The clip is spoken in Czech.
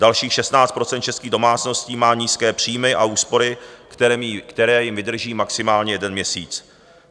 Dalších 16 % českých domácností má nízké příjmy a úspory, které jim vydrží maximálně jeden měsíc.